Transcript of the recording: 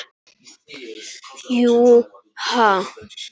Jú. ha?